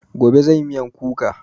Gobe zanyi miyan kuka